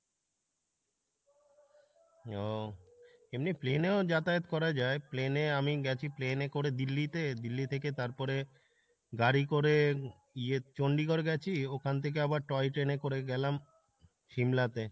ও, এমনি plane এও যাতায়াত করা যায়, plane এ আমি গেছি, plane এ করে দিল্লি তে, দিল্লি থেকে তারপরে গাড়ি করে ইয়ে চণ্ডীগড় গেছি ওখান থেকে আবার toy train এ করে গেলাম সিমলা তে,